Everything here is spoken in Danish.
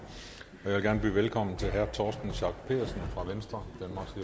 vil gerne byde velkommen til herre torsten schack pedersen fra venstre